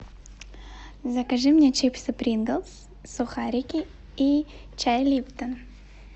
закажи мне чипсы принглс сухарики и чай липтон